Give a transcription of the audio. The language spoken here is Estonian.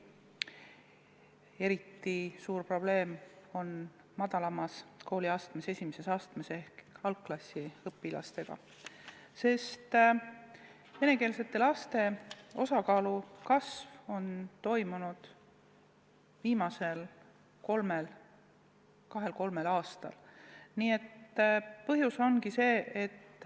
Eriti suur probleem on madalaimas kooliastmes ehk algklassiõpilastega, sest venekeelsete laste osakaal on viimasel kahel-kolmel aastal kasvanud.